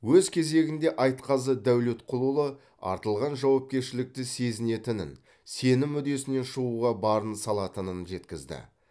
өз кезегінде айтқазы дәулетқұлұлы артылған жауапкершілікті сезінетінін сенім үдесінен шығуға барын салатынын жеткізді